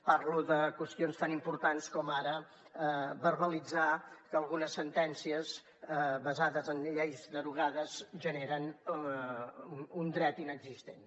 parlo de qüestions tan importants com ara verbalitzar que algunes sentències basades en lleis derogades generen un dret inexistent